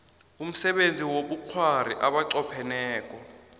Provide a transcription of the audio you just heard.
umsebenzi wobukghwari abanqopheneko